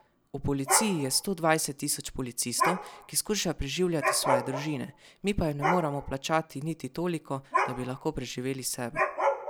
V policiji je sto dvajset tisoč policistov, ki skušajo preživljati svoje družine, mi pa jim ne moremo plačati niti toliko, da bi lahko preživeli sebe.